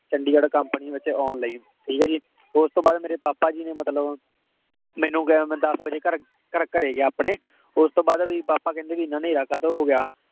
Chandigarh company ਵਿੱਚ ਆਉਣ ਲਈ, ਠੀਕ ਹੈ ਜੀ। ਉਸਤੋਂ ਬਾਅਦ ਮੇਰੇ ਪਾਪਾ ਜੀ ਨੇ ਮਤਲਬ ਮੈਨੂੰ ਕਿਹਾ, ਮੈਂ ਦੱਸ ਵਜੇ ਘਰ ਘਰੇ ਗਿਆ ਆਪਣੇ, ਉਸਤੋਂ ਬਾਅਦ ਵੀ papa ਕਹਿੰਦੇ ਵੀ ਇੰਨਾ ਨੇਹਰਾ ਕਾਤੋਂ ਹੋ ਗਿਆ।